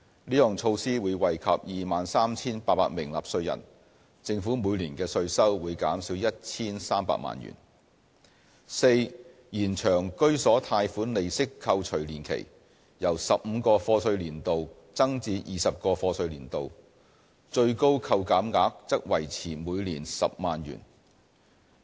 這項措施會惠及 23,800 名納稅人，政府每年的稅收會減少 1,300 萬元； d 延長居所貸款利息扣除年期，由15個課稅年度增至20個課稅年度，最高扣減額則維持每年10萬元。